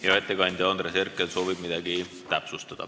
Hea ettekandja, Andres Herkel soovib midagi täpsustada.